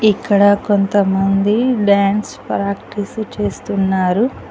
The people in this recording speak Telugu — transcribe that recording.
ఇక్కడ కొంతమంది డాన్స్ ప్రాక్టీస్ చేస్తున్నారు.